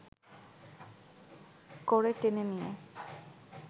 করে টেনে নিয়ে